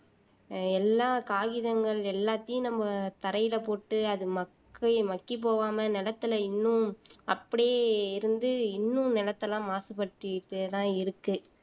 ஆஹ் எல்லா காகிதங்கள் எல்லாத்தையும் நம்ம தரையில போட்டு அது மக்கி மக்கிப் போகாம நெலத்துல இன்னும் அப்படியே இருந்து இன்னும் நிலத்தை எல்லாம் மாசுபடுத்திட்டேதான் இருக்கு